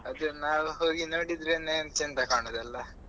ಅದು ನಾವ್ ಹೋಗಿ ನೋಡಿದ್ರೆನೇ ಚಂದ ಕಾಣುದಲ್ವಾ.